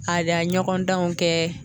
Ka dan ɲɔgɔndanw kɛ